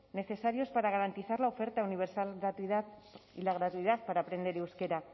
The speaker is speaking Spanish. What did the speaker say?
necesarios para garantizar la oferta universal y la gratuidad para aprender euskera